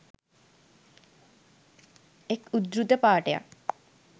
එක් උදෘත පාඨයක්